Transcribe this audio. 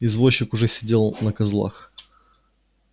извозчик уже сидел на козлах